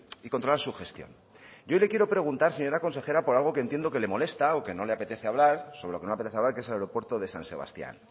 y controlar su gestión yo le quiero preguntar señora consejera por algo que entiendo que le molesta o que no le apetece hablar sobre lo que no le apetece hablar que es el aeropuerto de san sebastián